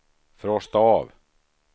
frosta av